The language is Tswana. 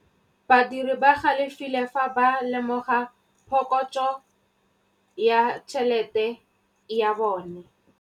Badiri ba galefile fa ba lemoga phokotsô ya tšhelête ya bone.